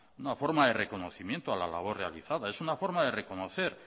una forma de reconocimiento a la labor realizada es una forma de reconocer